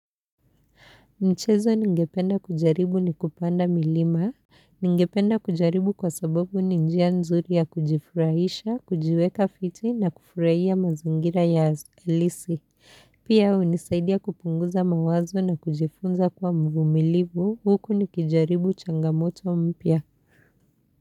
Mchezo ningependa kujaribu ni kupanda milima. Ningependa kujaribu kwa sababu ninjia nzuri ya kujifurahisha, kujiweka fiti na kufurahia mazingira ya halisi. Pia hunisaidia kupunguza mawazo na kujifunza kuwa mvumilivu. Huku nikijaribu changamoto mpya.